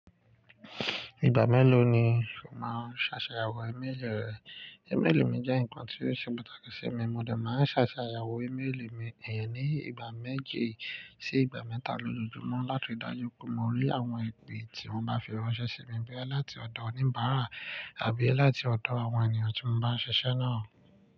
Ìgbà mélòó ni o máa ń ṣàṣàyàwò ímélì rẹ? Ì mélì mi jẹ́ nǹkan tí ó ṣe pàtàkì sí mi, mo dà má ń ṣàṣàyàwò ímélì mi, ìyẹn ni ìgbà méje sí ìgbà mẹ́tà lójoojúmọ́ láti rí dájú pé mo rí àwọn ìpè tí wọ́n bá fi ránṣẹ́ sí mi boya láti ọ̀dọ̀ oníbàárà àbí ẹ láti ọ̀dọ̀ àwọn ènìyàn tí mo bá ń ṣiṣẹ́ náà.